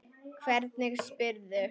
Hvernig spyrðu.